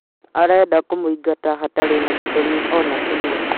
Arenda kũmũingata hatarĩ na gĩtũmi ona kĩmwe.